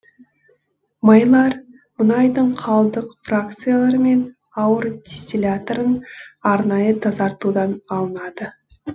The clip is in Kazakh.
майлар мұнайдың қалдық фракциялары мен ауыр дистилляттарын арнайы тазартудан алынады